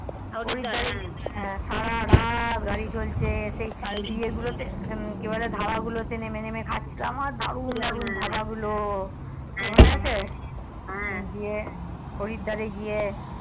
হরিদ্বার এ সারারাত গাড়ি চলছে সেই ইয়ে গুলোতে কি বলে ধাবা গুলোতে নেমে নেমে খাচ্ছিলাম আর দারুন দানুর ধাবাগুলো তোর মনে আছে হ্যা হরিদ্বার এ গিয়ে